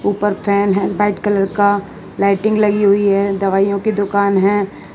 ऊपर फैन है white colour का लाइटिंग लगी हुई है दवाईयों की दुकान है।